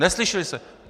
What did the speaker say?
Neslyšeli jste!